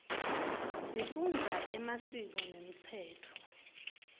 sifundza emasiko nemtsetfo